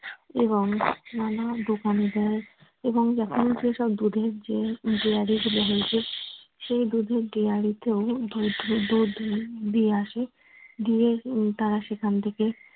এবং নানা দোকানে দেয়। এবং সেসব দুধের যে সেই দুধের dairy তেও দুধ দিয়ে আসে দিয়ে তারা সেখান থেকে